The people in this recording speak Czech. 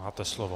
Máte slovo.